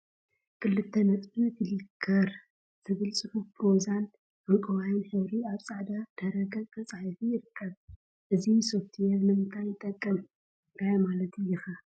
ክልተ ነጥቢን ፍሊክር ዝብል ፅሑፍ ብሮዛን ዕንቋይን ሕብሪ አብ ፃዕዳ ድሕረ ገፅ ተፃሒፉ ይርከብ፡፡ እዚ ሶፍትዌር ንምንታይ ይጠቅም? እንታይ ማለት እዩ ኸ?